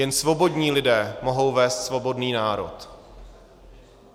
Jen svobodní lidé mohou vést svobodný národ.